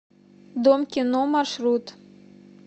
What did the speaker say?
дом кино маршрут